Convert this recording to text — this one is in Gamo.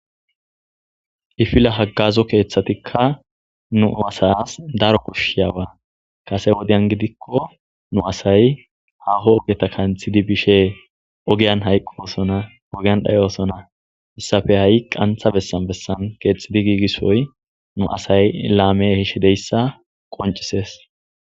Kifile hagazo keeththatikka nu asaas daro koshshiyaba kase wodiyan gidikko nu asay haho ogeta kanthidi bishshe ogiyan hayqqosona ogeyan dhayosona hissafe ha'i qantha bessan bessan keexxidi giigissoy nu asay laame ehishshe dizayssa qoncisees